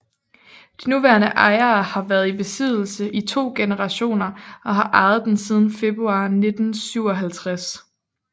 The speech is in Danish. De nuværende ejere har været i besiddelse i to generationer og har ejet den siden februar 1957